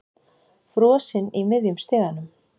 Frosinn í miðjum stiganum.